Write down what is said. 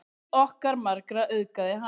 Líf okkar margra auðgaði hann.